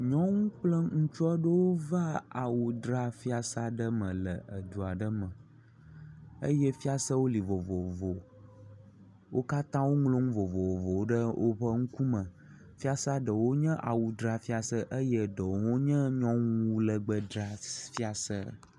Nyɔnu kple ŋutsu aɖewo va awu dzra fiase aɖe me le edu aɖe me eye fiasewo li vovovo, wo katã woŋlɔnu vovovowo ɖe woƒe ŋkume, fiase ɖewo nye awudzrafiase eye ɖewo nye nyɔnuwu legbedzrafiase